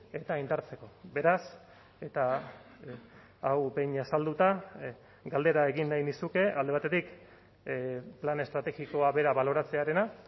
eta indartzeko beraz eta hau behin azalduta galdera egin nahi nizuke alde batetik plan estrategikoa bera baloratzearena